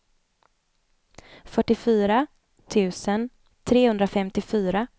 fyrtiofyra tusen trehundrafemtiofyra